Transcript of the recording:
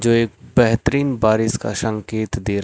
जो एक बेहतरीन बारिश का संकेत दे--